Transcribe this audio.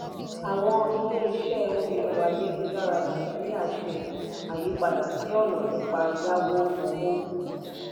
àwọn ilé-iṣẹ́ orí ẹ̀rọ-ayélujára nàìjíríà ṣe àyípadà sí ọ̀nà nípa yáwó owó.